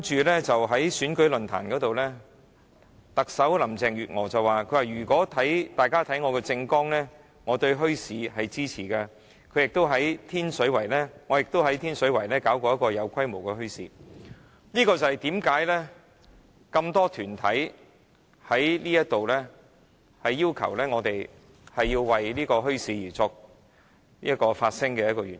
其後在選舉論壇上，特首林鄭月娥說如果大家有看她的政綱，會知道她對墟市是支持的，她亦曾在天水圍舉辦一個有規模的墟市，這便是多個團體要求我們在此為墟市發聲的一個原因。